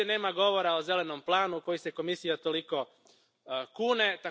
Ovdje nema govora o zelenom planu u koji se Komisija toliko kune.